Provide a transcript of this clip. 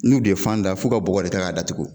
N'u bɛ fan da f'u ka bɔgɔ de kɛ k'a datugu.